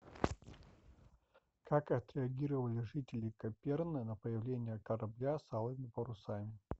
как отреагировали жители каперны на появление корабля с алыми парусами